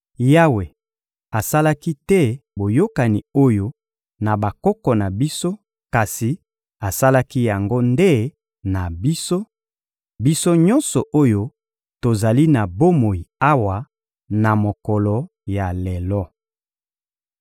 Yawe asalaki te boyokani oyo na bakoko na biso kasi asalaki yango nde na biso, biso nyonso oyo tozali na bomoi awa na mokolo ya lelo.